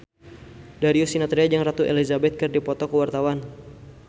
Darius Sinathrya jeung Ratu Elizabeth keur dipoto ku wartawan